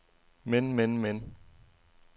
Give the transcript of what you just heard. men men men